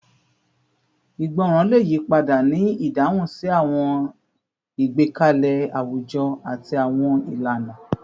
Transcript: Ìgbọràn le yipada ni idahun si awọn igbekalẹ awujọ ati awọn ilana